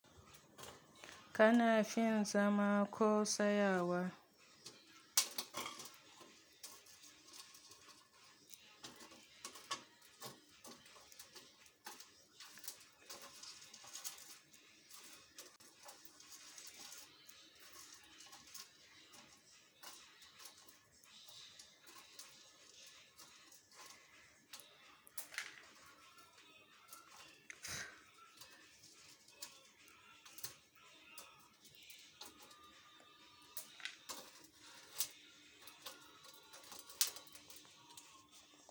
Kana fin zama ko tsayawa?